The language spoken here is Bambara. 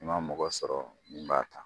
N ma mɔgɔ sɔrɔ min b'a kan